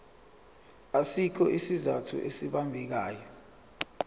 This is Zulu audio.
asikho isizathu esibambekayo